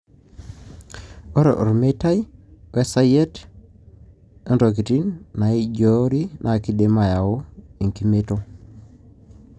ore omeitai, we sayiet, ontokitin naiijiori na kindim ayau enkimeito,